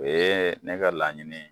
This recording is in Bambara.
Ee ne ka laɲini